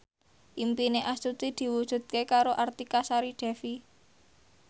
impine Astuti diwujudke karo Artika Sari Devi